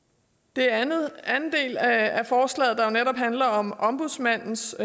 den anden del af af forslaget der jo netop handler om ombudsmandens